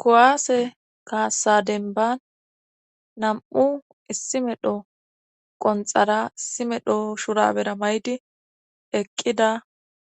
kuwaase kaassadenban nam7u issi medho qonxara issimedho shurabera may7di eqqida